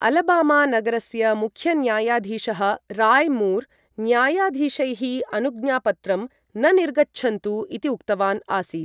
Alabama नगरस्य मुख्यन्यायाधीशः Roy Moore न्यायाधीशैः अनुज्ञापत्रं न निर्गच्छन्तु इति उक्तवान् आसीत् ।